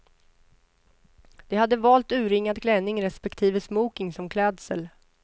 De hade valt urringad klänning respektive smoking som klädsel.